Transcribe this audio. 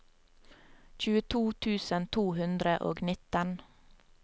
tjueto tusen to hundre og nitten